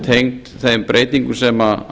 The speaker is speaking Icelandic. tengd þeim breytingum sem